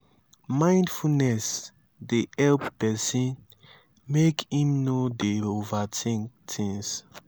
mimdfulness dey help person make im no dey overthink things